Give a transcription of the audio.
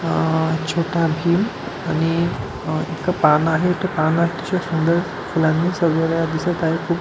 अह छोटा भीम आणि अ एक पाळना आहे तो पाळना अतिशय सुंदर फुलाणी सजवलेला दिसत आहे खुप --